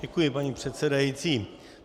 Děkuji, paní předsedající.